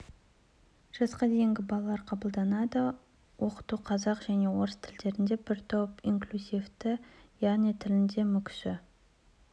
жасқа дейінгі балалар қабылданады оқыту қазақ және орыс тілдерінде бір топ инклюзивті яғни тілінде мүкісі